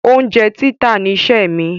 Oúnjẹ títà niṣẹ́ mi.